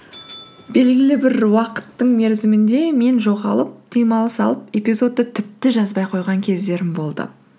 белгілі бір уақыттың мерзімінде мен жоғалып демалыс алып эпизодты тіпті жазбай қойған кездерім болды